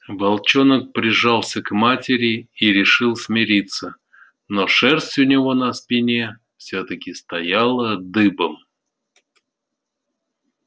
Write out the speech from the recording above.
волчонок прижался к матери и решил смириться но шерсть у него на спине всё-таки стояла дыбом